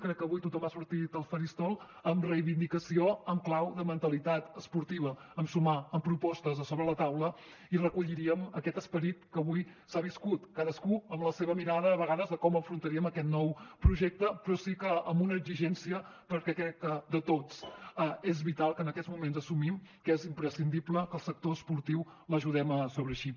crec que avui tothom ha sortit al faristol amb reivindicació en clau de mentalitat esportiva en sumar amb propostes a sobre la taula i recolliríem aquest esperit que avui s’ha viscut cadascú amb la seva mirada a vegades de com afrontaríem aquest nou projecte però sí que amb una exigència perquè crec que de tots és vital que en aquests moments assumim que és imprescindible que el sector esportiu l’ajudem a sobreeixir